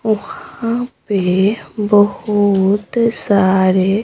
वहां पे बहुत सारे--